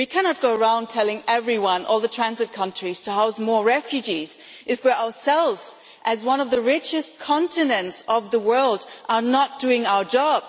We cannot go around telling everyone, all the transit countries, to house more refugees if we ourselves as one of the richest continents of the world are not doing our job.